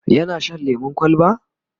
yana Shan lemun kwalba?